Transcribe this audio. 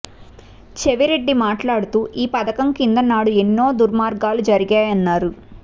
చెవిరెడ్డి మాట్లాడుతూ ఈ పథకం కింద నాడు ఎన్నో దుర్మార్గాలు జరిగాయన్నారు